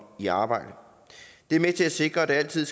i arbejde det er med til at sikre at det altid